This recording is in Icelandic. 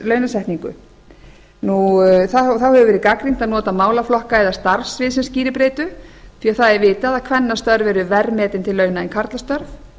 launasetningu þá hefur verið gagnrýnt að nota málaflokka eða starfssvið sem skýribreytu því vitað er að kvennastörf eru verr metin til launa en karlastörf